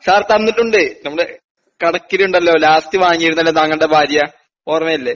Sir തന്നിട്ടുണ്ട് നമ്മളെ കണക്കിലുണ്ടല്ലോ ലാസ്റ്റ് വാങ്ങിയിരുന്നല്ലോ താങ്കൾടെ ഭാര്യ.ഓർമ്മയില്ലേ?